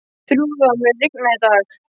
Þrúða, mun rigna í dag?